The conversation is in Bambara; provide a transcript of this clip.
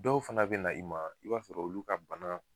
Dɔw fana be na i ma i b'a sɔrɔ olu ka bana